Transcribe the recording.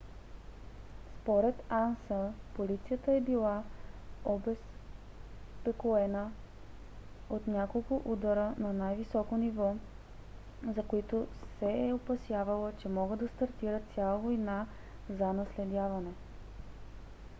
според анса полицията е била обезпокоена от няколко удара на най - високо ниво за които се е опасявала че могат да стартират цяла война за наследяване